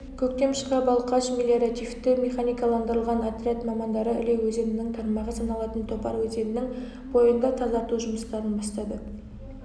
көктем шыға балқаш мелиоративті-механикаландырылған отряд мамандары іле өзенінің тармағы саналатын топар өзенінің бойында тазарту жұмыстарын бастады